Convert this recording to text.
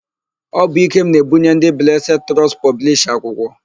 Ọ bụ Ikem na-ebunye ndị Blesed Trọstụ pọblisha akwụkwọ.